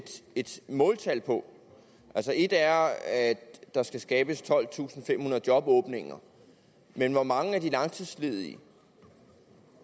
et måltal på et er at der skal skabes tolvtusinde og femhundrede jobåbninger men hvor mange af de langtidsledige